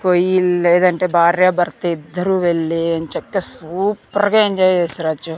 పొయ్యిందెడేదంటే భార్య భర్త ఇద్దరూ వెళ్ళి ఎంచక్కా సూపర్ గా ఎంజాయ్ చేసి రావచ్చు.